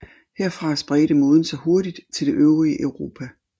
Herfra spredte moden sig hurtigt til det øvrige Europa